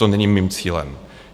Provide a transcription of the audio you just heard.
To není mým cílem.